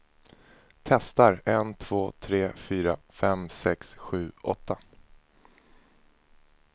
Testar en två tre fyra fem sex sju åtta.